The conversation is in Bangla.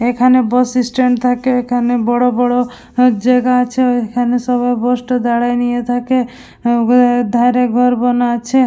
এখানে বস ইস্ট্যান্ড থাকে। এখানে বড় বড় হা জায়গা আছে। এখানে সবাই বস টো দাঁড়ায় নিয়ে থাকে। ধরে ঘর বানা আছে --